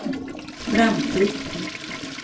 framtid